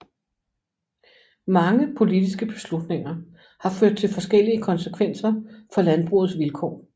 Mange politiske beslutninger har ført til forskellige konsekvenser for landbrugets vilkår